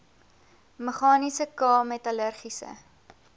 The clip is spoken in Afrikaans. meganiese k metallurgiese